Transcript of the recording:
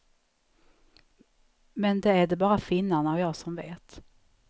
Men det är det bara finnarna och jag som vet.